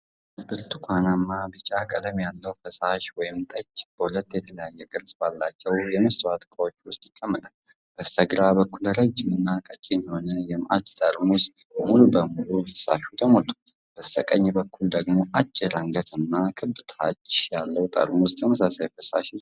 ብርቱካናማ ቢጫ ቀለም ያለው ፈሳሽ(ጠጅ) በሁለት የተለያየ ቅርጽ ባላቸው የመስታወት ዕቃዎች ውስጥ ይቀመጣል። በስተግራ በኩል ረዥም እና ቀጭን የሆነ የማዕድ ጠርሙስ ሙሉ በሙሉ በፈሳሹ ተሞልቷል። በስተቀኝ በኩል ደግሞ አጭር አንገትና ክብ ታች ያለው ጠርሙስ ተመሳሳይ ፈሳሽ ይዟል።